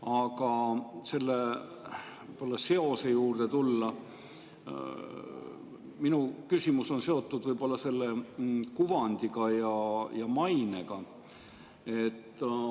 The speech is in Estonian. Aga tulles selle seose juurde, minu küsimus on seotud selle kuvandiga ja mainega.